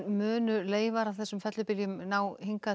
munu leifar af þeim fellibyljum ná hingað